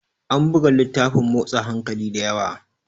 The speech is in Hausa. An buga littafin motsa hankali da yawa.